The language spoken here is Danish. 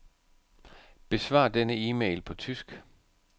Besvar denne e-mail på tysk.